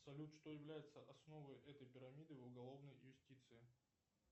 салют что является основой этой пирамиды в уголовной юстиции